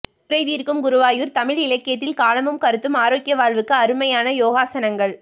குறை தீர்க்கும் குருவாயூர் தமிழ் இலக்கியத்தில் காலமும் கருத்தும் ஆரோக்கிய வாழ்வுக்கு அருமையான யோகாசனங்கள்